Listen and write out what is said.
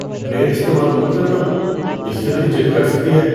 Blade استعمال مت کرنا۔ اس سے میری جلد کٹ سکتی ہے۔